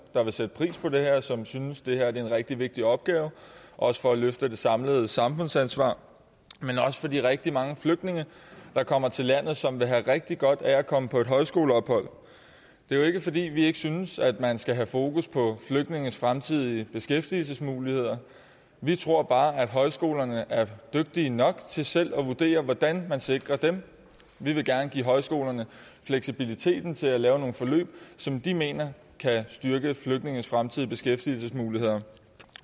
der vil sætte pris på det her og som synes det her er en rigtig vigtig opgave også for at løfte det samlede samfundsansvar men også for de rigtig mange flygtninge der kommer til landet og som vil have rigtig godt af at komme på et højskoleophold det er jo ikke fordi vi ikke synes at man skal have fokus på flygtninges fremtidige beskæftigelsesmuligheder vi tror bare at højskolerne er dygtige nok til selv at vurdere hvordan man sikrer dem vi vil gerne give højskolerne fleksibiliteten til at lave nogle forløb som de mener kan styrke flygtninges fremtidige beskæftigelsesmuligheder